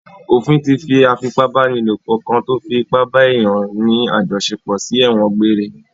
Ofin tí fi afipábánilò kan tó fi ipa bá èèyàn ní àjọṣepọ̀ sí ẹ̀wọ̀n gbeŕre